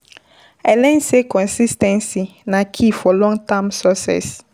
I learn sey consis ten cy na key for long-term success.